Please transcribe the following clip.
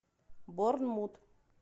борнмут